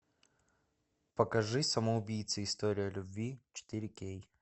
покажи самоубийцы история любви четыре кей